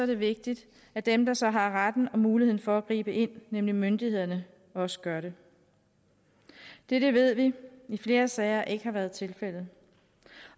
det vigtigt at dem der så har retten til og muligheden for at gribe ind nemlig myndighederne også gør det dette ved vi i flere sager ikke har været tilfældet